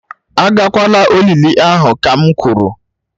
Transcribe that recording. Agakwala olili ahụ kam kwuru!